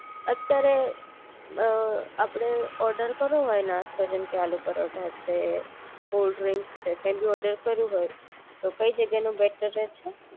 અત્યારે આપણે ઓર્ડર કરવું હોય નાસ્તો જેમ કે આલુ પરોઠા છે કોલ્ડ્રિંક્સ છે કઈ ભી ઓર્ડર કરવું હોય તો કઈ જગ્યા નું બેટર રહેશે